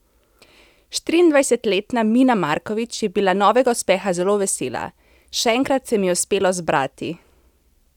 Štiriindvajsetletna Mina Markovič je bila novega uspeha zelo vesela: 'Še enkrat se mi je uspelo zbrati.